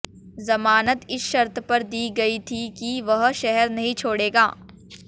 जमानत इस शर्त पर दी गई थी कि वह शहर नहीं छोड़ेगा